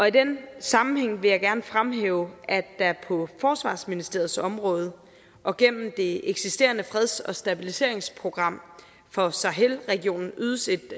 i den sammenhæng vil jeg gerne fremhæve at der på forsvarsministeriets område og gennem det eksisterende freds og stabiliseringsprogram for sahel regionen ydes et